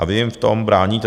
A vy jim v tom bráníte.